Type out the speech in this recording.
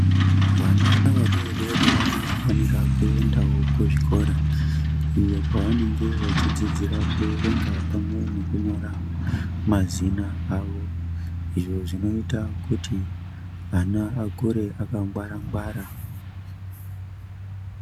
Vana vadodori vanofanirawo kuendawo kuzvikora iyo kwavanenge vachidzidzira kuerenga pamwe nekunyora mazina avo, izvo zvinoita kuti vana vakure vakangwara-ngwara.